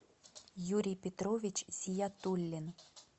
юрий петрович зиятуллин